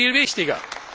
Das ist viel wichtiger!